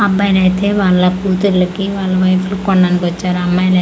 అబ్బాయిలైతే వాళ్ళ కూతుర్లకి వల్ల వైఫ్ లు కొనడానికి వచ్చారు అమ్మాయిల.